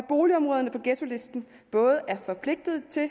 boligområderne på ghettolisten både er forpligtet til at